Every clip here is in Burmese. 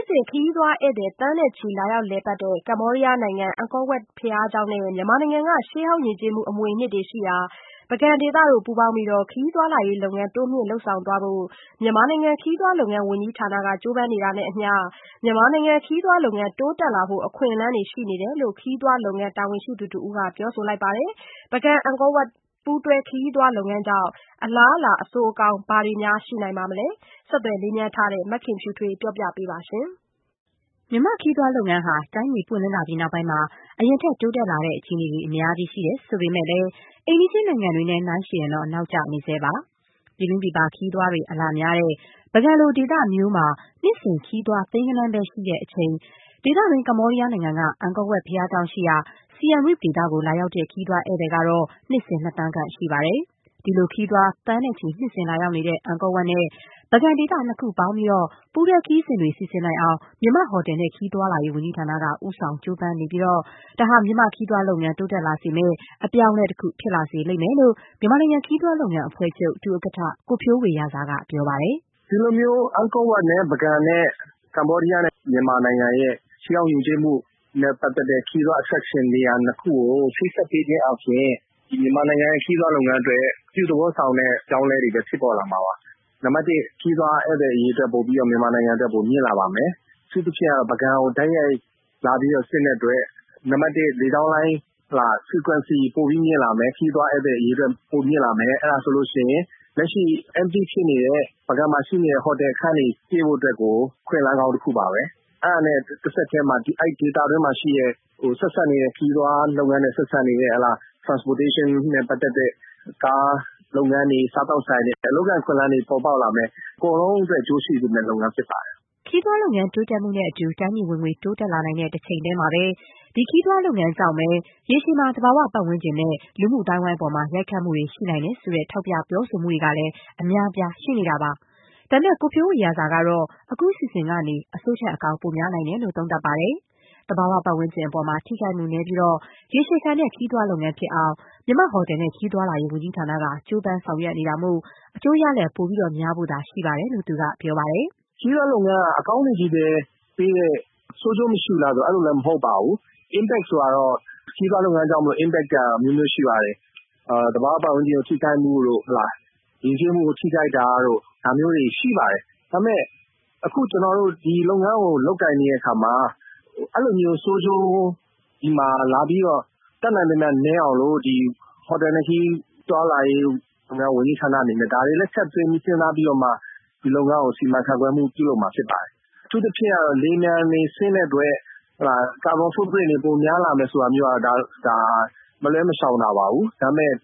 ်စဉ် ခရီးသွားဧည့်သည် သန်းနဲ့ချီ လာရောက် လည်ပတ်တဲ့ ကမ္ဘောဒီးယားနိုင်ငံ အန်ကောဝပ် ဘုရားကျောင်းနဲ့ မြန်မာနိုင်ငံက ရှေးဟောင်းယဉ်ကျေးမှု အမွေအနှစ်တွေရှိရာ ပုဂံ ဒေသ တို့ ပူးပေါင်းပြီး ခရီးသွားလာရေး လုပ်ငန်းတိုးမြင့် လုပ်ဆောင်သွားဖို့ မြန်မာနိုင်ငံ ခရီးသွားလုပ်ငန်းဝန်ကြီးဌာနက ကြိုးပမ်းနေတာနဲ့အမျှ မြန်မာနိုင်ငံ ခရီးသွားလုပ်ငန်း တိုးတက်လာဖို့ အခွင့်အလမ်းတွေ ရှိနေတယ်လို့ ခရီးသွားလုပ်ငန်း တာဝန်ရှိသူတဦးက ပြောပါတယ်။ ပုဂံ-အန်ကော ပူးတွဲ ခရီးသွားလုပ်ငန်းကြောင့် အလားအလာ အဆိုးအကောင်း ဘာတွေ ရှိနိုင်မလဲ ဆက်သွယ်မေးမြန်းထားတဲ့ မခင်ဖြူထွေးက ပြောပြပေးပါမယ်။ မြန်မာ့ခရီးသွားလုပ်ငန်းဟာ တိုင်းပြည် ပွင့်လင်းလာပြီးနောက်ပိုင်းမှာ အရင်ထက် တိုးတက်လာတဲ့ အခြေအနေတွေ အများကြီး ရှိတယ် ဆိုပေမဲ့လည်း အိမ်နီးချင်း နိုင်ငံတွေနဲ့ယှဉ်ရင်တော့ နောက်ကျနေဆဲပါ။ ပြည်တွင်းပြည်ပ ခရီးသွားတွေ အလာများတဲ့ ပုဂံ လို ဒေသမျိုးမှာ နှစ်စဉ် ခရီးသွား သိန်းဂဏန်းပဲ ရှိတဲ့အချိန် ဒေသတွင်း ကမ္ဘောဒီးယားနိုင်ငံက အန်ကောဝပ် ဘုရားကျောင်းရှိရာ Siem Reap ဒေသကို လာရောက်တဲ့ ခရီးသွားဧည့်သည်ကတော့ နှစ်စဉ် နှစ်သန်းခန့် ရှိပါတယ်။ ဒီလို ခရီးသွား သန်းနဲ့ချီ နှစ်စဉ်လာရောက်နေတဲ့ အန်ကောဝပ်နဲ့ ပုဂံဒေသ နှစ်ခုပေါင်းပြီး ပူးတွဲခရီးစဉ်တွေ စီစဉ်နိုင်အောင် မြန်မာ့ ဟိုတယ်နဲ့ခရီးသွားလာရေး ဝန်ကြီးဌာနက ဦးဆောင်ကြိုးပမ်းနေပြီး ဒါဟာ မြန်မာ့ခရီးသွားလုပ်ငန်း တိုးတက်လာစေမယ့် အပြောင်းအလဲတခု ဖြစ်လိမ့်မယ်လို့ မြန်မာနိုင်ငံ ခရီးသွားလုပ်ငန်းအဖွဲ့ချုပ် ဒုဥက္ကဋ္ဌ ကိုဖြိုးဝေရာဇာ က ပြောပါတယ်။ “ဒီလိုမျိုး အန်ကောဝပ် နဲ့ ပုဂံ ၊ ကမ္ဘောဒီယားနဲ့ မြန်မာနိုင်ငံရဲ့ ရှေးဟောင်းယဉ်ကျေးမှုနဲ့ ပတ်သက်တဲ့ ခရီးသွား attraction နေရာ ၂ ခု ကို ချိတ်ဆက်ပေးခြင်းအားဖြင့် ဒီမြန်မာနိုင်ငံ ခရီးသွားလုပ်ငန်းအတွက် အပြုသဘောဆောင်တဲ့ အပြောင်းအလဲတွေလည်း ဖြစ်ပေါ်လာမှာပါ။ နံပတ်၁ ခရီးသွားဧည့်သည်အရေအတွက် မြန်မာနိုင်ငံမှာ ပိုပြီးတော့မြင့်လာပါမယ်။ အထူးသဖြင့်ကတော့ ပုဂံကို တိုက်ရိုက်လာတဲ့အတွက် နံပတ် ၁ လေကြောင်းလိုင်း Frequency ပိုပြီးမြင့်လာမယ်။ ခရီးသွားဧည့်သည်အရေအတွက် ပိုပြီးတော့မြင့်လာပါမယ်။အဲဒါဆိုရင် လက်ရှိ Empty ဖြစ်နေတဲ့ ပုဂံမှာရှိတဲ့ ဟိုတယ်ခန်းတွေ ပြည့်ဖို့အတွက်ကို အခွင့်အလမ်းကောင်းတခုပါပဲ။ အဲဒါနဲ့ တဆက်တည်းမှာ အဲဒီဒေသအတွင်းမှာရှိတဲ့ ခရီးသွားလုပ်ငန်းနဲ့ ဆက်စပ်နေတဲ့ Transportation နဲ့ ပက်သတ်တဲ့ ကားလုပ်ငန်းတွေ ၊ စားသောက်ဆိုင်တွေ အလုပ်အကိုင်အခွင့်အလမ်းတွေ ပေါ်ပေါက်လာမယ်။ အကုန်လုံးအတွက် အကျိုးရှိစေမယ့် လုပ်ငန်းဖြစ်ပါတယ်။” ခရီးသွားလုပ်ငန်း တိုးတက်မှုနဲ့အတူ တိုင်းပြည်ဝင်ငွေ တိုးတက်လာနိုင်တဲ့ တချိန်တည်းမှာပဲ ခရီးသွားလုပ်ငန်းကြောင့်ပဲ ရေရှည်မှာ သဘာဝပတ်ဝန်းကျင်နဲ့ လူမှုအသိုင်းအဝိုင်း အပေါ် ရိုက်ခတ်မှုတွေ ရှိနိုင်တယ်ဆိုတဲ့ ထောက်ပြ ပြောဆိုတာတွေကလည်း အများအပြား ရှိနေတာပါ။ ဒါပေမဲ့ ကိုဖြိုးဝေရာဇာ ကတော့ အခုအစီအစဉ်ကနေ အဆိုးထက် အကောင်း ပိုများနိုင်တယ်လို့ သုံးသပ်ပါတယ်။ သဘာဝပတ်ဝန်းကျင် အပေါ် ထိခိုက်မှု နည်းပြီး ရေရှည်ခံတဲ့ခရီးသွား လုပ်ငန်းဖြစ်အောင် မြန်မာ့ ဟိုတယ်နဲ့ခရီးသွားလာရေး ဝန်ကြီးဌာနက ကြိုးပမ်းဆောင်ရွက် နေတာမို့ အကျိုးရလဒ် ပိုများဖို့သာ ရှိပါတယ်လို့ သူက ပြောပါတယ်။ “ခရီးသွားလုပ်ငန်းက အကောင်းတွေပဲပေးတယ်၊ ဆိုးကျိုးမရှိဘူးလားဆိုတာ အဲလိုလည်းမဟုတ်ပါဘူး။ Impact ဆိုတာကတော့ ခရီးသွားလုပ်ငန်းကြောင့်မို့လို့ Impact ဆိုတာကတော့အမျိုးမျိုးရှိပါတယ်။ သဘာဝပတ်ဝန်းကျင်ထိခိုက်မှုတို့ ၊ ယဉ်ကျေးမှုကို ထိခိုက်တာတို့ ဒါမျိုးတွေရှိပါတယ်။ ဒါပေမယ့် အခုကျနော်တို့ ဒီလုပ်ငန်းကို လုပ်ကိုင်နေတဲ့အခါမှာ အဲဒီလိုမျိုး ဆိုးကျိုးဒီမှာလာပြီးတော့ တတ်နိုင်သမျှနည်းအောင်လို့ ဟိုတယ်နဲ့ခရီးသွားလာရေး ဝန်ကြီးဌာနအနေနဲ့ ဒါတွေလည်း ထည့်သွင်းစဉ်းစားပြီးတော့မှ ဒီလုပ်ငန်းကို စီမံခန့်ခွဲမှုပြုလုပ်မှာဖြစ်ပါတယ်။ အထူးသဖြင့်ကတော့ လေယာဉ်ပျံတွေဆင်းတဲ့အတွက် ကာဗွန် စွန့်ပြစ်မှုတွေပိုများလာမယ်ဆိုတာကတော့ မလွဲမရှောင်သာ ပါပဲ။ ဒါပေမယ့်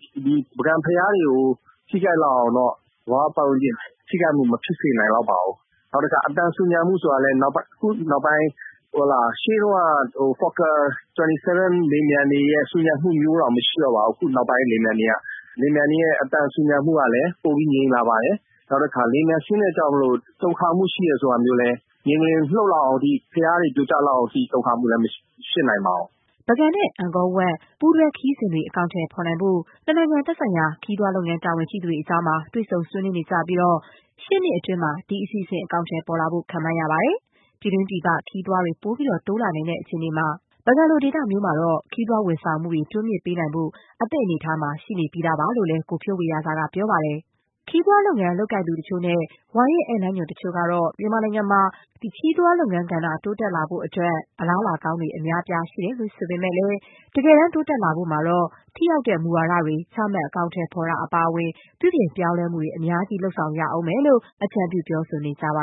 ပုဂံဘုရားတွေကို ထိခိုက်လောက်အောင်တော့ သဘာဝပတ်ဝန်းကျင် ထိခိုက်မှုမဖြစ်စေနိုင်လောက်ပါဘူး။ နောက်တခါ အသံဆူညံမှုဆိုတာကလည်း အခုနောက်ပိုင်း မှာ ရှေးတုန်းက လေယာဉ်ပျံတွေလိုမျိုးဆူညံမှုတွေ မရှိတော့ပါဘူး နောက်ပိုင်းလေယာဉ်ပျံတွေက ။ လေယာဉ်ပျံတွေရဲ့ အသံဆူညံမှုကလည်း ပိုပြီး ငြိမ်လာပါတယ်။ နောက်တခါ လေယာဉ်ပျံဆင်းတဲ့အတွက်ကြောင့်မို့လို တုန်ခါမှုရှိတယ်ဆိုပေမယ့်လည်း မြေငလျင်လှုပ်လောက်အောင်အထိ ၊ ဘုရားတွေ ပြိုကျလောက်အောက်အထိ တုန်ခါမှုလည်း မဖြစ်နိုင်ပါဘူး။” ပုဂံနဲ့ အန်ကောဝပ် ပူးတွဲခရီးစဉ်တွေ အကောင်အထည် ဖော်ဖို့အတွက် နှစ်နိုင်ငံ သက်ဆိုင်ရာ ခရီးသွားလုပ်ငန်း တာဝန်ရှိ သူတွေကြား တွေ့ဆုံ ဆွေးနွေးနေကြပြီး ရှေ့နှစ်အတွင်း ဒီအစီအစဉ် အကောင်အထည် ပေါ်လာဖို့ ခန့်မှန်းရပါတယ်။ ပြည်တွင်း ပြည်ပ ခရီးသွားတွေ ပိုပြီး တိုးလာနိုင်တဲ့ အခြေအနေမှာ ပုဂံ လို ဒေသမျိုးမှာတော့ ခရီးသွားဝန်ဆောင်မှုတွေ တိုးမြင့်ပေးနိုင်ဖို့ အသင့်အနေအထားမှာ ရှိနေပြီးသား ဖြစ်တယ်လို့လည်း ကိုဖြိုးဝေရာဇာက ပြောပါတယ်။ ခရီးသွားလုပ်ငန်း လုပ်ကိုင်သူတချို့နဲ့ ဝါရင့်ဧည့်သည်လမ်းညွှန် တချို့ကတော့ - မြန်မာနိုင်ငံမှာ ခရီးသွားလုပ်ငန်းကဏ္ဍ တိုးတက်လာဖို့ အတွက် အလားအလာကောင်းတွေ အများအပြား ရှိတယ်ဆိုပေမဲ့လည်း၊ တကယ်တမ်း တိုးတက်လာဖို့မှာတော့ ထိရောက်တဲ့ မူဝါဒတွေ ချမှတ် အကောင်အထည်ဖော်တာ အပါအဝင် ပြုပြင်ပြောင်းလဲမှုတွေ အများကြီး လုပ်ဆောင်ရလိမ့်မယ်လို့ အကြံပြု ပြောဆိုနေကြပါ